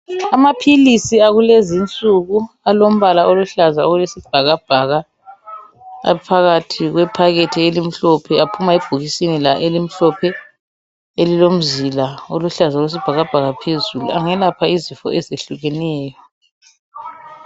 Amapills akulezi insuku alombala oluhlaza okwesibhakabhaka alhakathi kwephakethi elimhlophe ebhokisini elimhlophe elilomzila oluhlaza okwesibhakabhaka phezulu angelapha izifo ezehlukeneyo